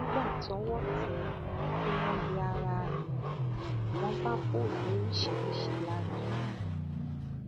nígbà tọwọ tẹ ẹ tí wọn yẹ ara ẹ wò wọn bá fóònù oríṣiríṣiì lára ẹ